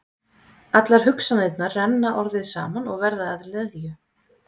Allar hugsanirnar renna orðið saman og verða að leðju.